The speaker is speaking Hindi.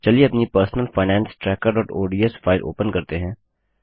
चलिए अपनी personal finance trackerओडीएस फाइल ओपन करते हैं